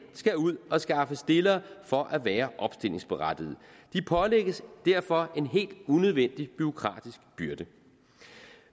skal ud og skaffe stillere for at være opstillingsberettiget de pålægges derfor en helt unødvendig bureaukratisk byrde